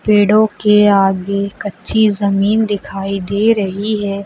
पेड़ों के आगे कच्ची जमीन दिखाई दे रही है।